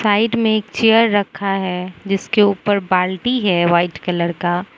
Side में एक chair रखा है जिसके ऊपर बाल्टी है वाइट कलर का।